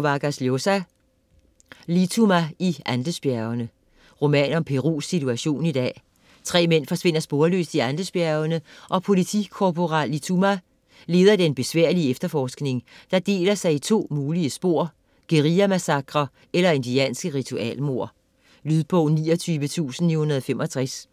Vargas Llosa, Mario: Lituma i Andesbjergene Roman om Perus situation i dag. 3 mænd forsvinder sporløst i Andesbjergene, og politikorporal Lituma leder den besværlige efterforskning, der deler sig i to mulige spor: guerillamassakrer eller indianske ritualmord. Lydbog 29965